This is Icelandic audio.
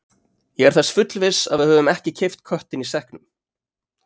Ég er þess fullviss að við höfum ekki keypt köttinn í sekknum.